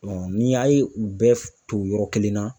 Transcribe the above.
ni y'a ye u bɛɛ tugu yɔrɔ kelen na.